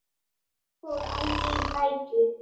Ég fór alveg í flækju.